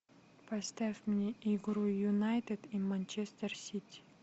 поставь мне игру юнайтед и манчестер сити